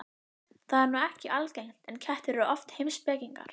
Það er nú ekki algengt, en kettir eru oft heimspekingar.